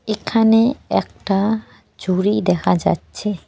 এখানে একটা ঝুড়ি দেখা যাচ্ছে।